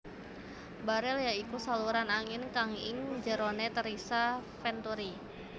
Barel ya iku saluran angin kang ing jerone terisa venturi